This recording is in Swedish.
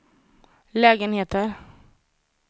lägenheter